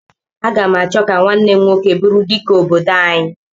Aga m achọ ka nwanne m nwoke bụrụ Dike obodo anyị.